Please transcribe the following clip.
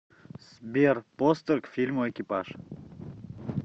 сбер постер к фильму экипаж